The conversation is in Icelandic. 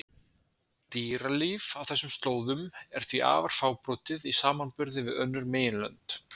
Dýralíf á þessum slóðum er því afar fábrotið í samanburði við önnur meginlönd.